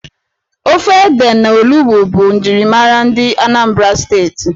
Ofe ede na olugbu bụ njirimara ndị Anambra Steeti.